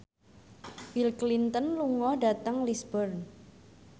Bill Clinton lunga dhateng Lisburn